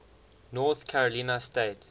north carolina state